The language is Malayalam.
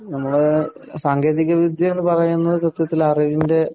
നമ്മുടെ സാങ്കേതിക വിദ്യ എന്ന് പറയുന്നത് സത്യത്തില്‍ അറിവിന്‍റെ